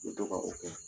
U bɛ to ka o kɛ